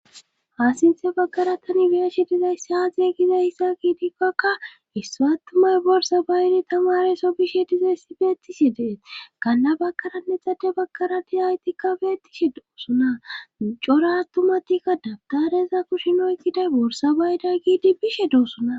haasinthe baggara tani biyashe dizayssi aazee gizay hissa giidipkakka issu attumay borsa baydi tamare so bishe dizay si beettishi dee kanna bakaranne xade bagkara dizaaytikka beettishe doosuna cora ttumatikka dabtareza kushinoy giday borsa bayda giidi bishe doossona